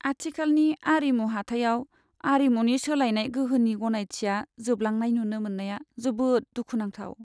आथिखालनि आरिमु हाथायाव आरिमुनि सोलायनाय गोहोनि गनायथिया जोबलांनाय नुनो मोन्नाया जोबोद दुखुनांथाव।